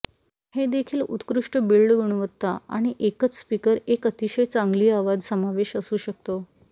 हे देखील उत्कृष्ट बिल्ड गुणवत्ता आणि एकच स्पीकर एक अतिशय चांगली आवाज समावेश असू शकतो